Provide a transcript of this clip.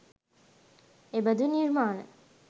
එබඳු නිර්මාණ